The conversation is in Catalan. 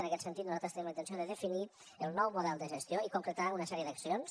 en aquest sen·tit nosaltres tenim la intenció de definir el nou model de gestió i concretar una sèrie d’accions